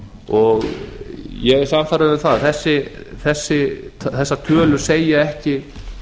og ég er sannfærður um það að þessar tölur segja ekki